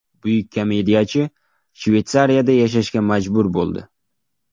Buyuk komediyachi Shveysariyada yashashga majbur bo‘ldi.